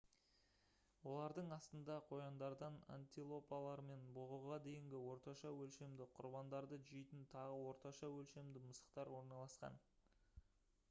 олардың астында қояндардан антилопалар мен бұғыға дейінгі орташа өлшемді құрбандарды жейтін тағы орташа өлшемді мысықтар орналасқан